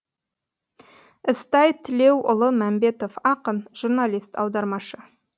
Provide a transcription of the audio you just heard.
ізтай тілеуұлы мәмбетов ақын журналист аудармашы